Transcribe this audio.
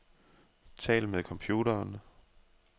Tal med computeren.